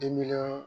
Denbila